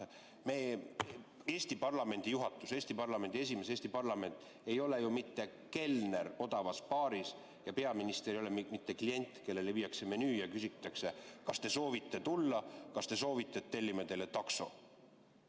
Eesti parlamendi juhatus, Eesti parlamendi esimees, Eesti parlament ei ole ju mitte kelner odavas baaris ja peaminister ei ole mitte klient, kellele viiakse menüüd ja küsitakse, kas te soovite tulla, kas te soovite, et tellime teile takso.